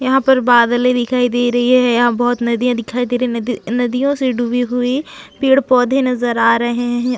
यहाँ पर बादले दिखाई दे रही है यहाँ बहोत नदियाँ दिखाई दे रही है नदी नदियों से डूबी हुई पेड़-पौधे नज़र आ रहे है।